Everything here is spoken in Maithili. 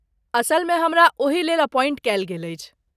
असलमे, हमरा ओही लेल अपॉइंट कयल गेल अछि।